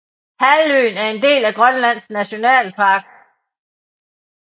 Halvøen er en del af Grønlands Nationalpark